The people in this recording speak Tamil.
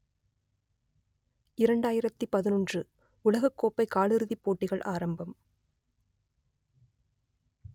இரண்டாயிரத்து பதினொன்று உலகக்கோப்பை காலிறுதிப் போட்டிகள் ஆரம்பம்